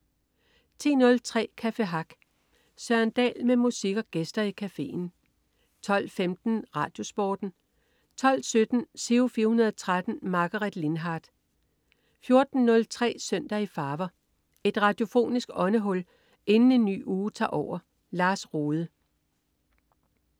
10.03 Café Hack. Søren Dahl med musik og gæster i cafeen 12.15 RadioSporten 12.17 Giro 413. Margaret Lindhardt 14.03 Søndag i farver. Et radiofonisk åndehul inden en ny uge tager over. Lars Rohde